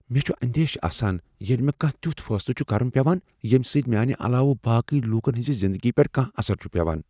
مےٚ چھ اندیشہ آسان ییٚلہ مےٚ کانٛہہ تیُتھ فیصلہٕ چھ کرن پیوان ییٚمہ سۭتۍ میانہ علاوٕ باقی لوکن ہٕنز زندگی پیٹھ کانٛہہ اثر چھ پیوان۔